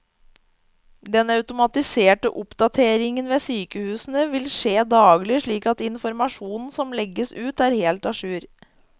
Den automatiserte oppdateringen ved sykehusene vil skje daglig, slik at informasjonen som legges ut er helt a jour.